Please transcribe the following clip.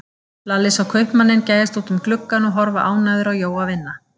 Lalli sá kaupmanninn gægjast út um gluggann og horfa ánægður á Jóa vinna.